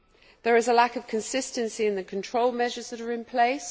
There is a lack of consistency in the control measures that are in place.